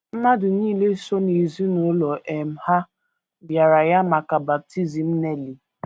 Mmadụ nile so n’ezinụlọ um ha bịara ya maka baptism Nellie.